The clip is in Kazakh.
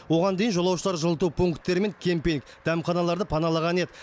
оған дейін жолаушылар жылыту пунктері мен кемпинг дәмханаларды паналаған еді